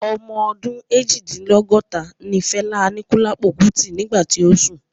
Ọmọ ọdún Eejidinlogota ní Fela Anikulapo Kuti nígbà tí ó sùn